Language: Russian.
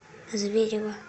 зверево